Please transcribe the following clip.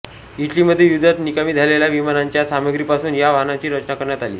इटलीमध्ये युद्धात निकामी झालेल्या विमानांच्या सामग्रीपासून या वाहनाची रचना करण्यात आली